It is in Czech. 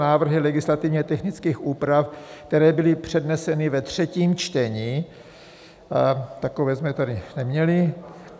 Návrhy legislativně technických úprav, které byly předneseny ve třetím čtení - takové jsme tady neměli.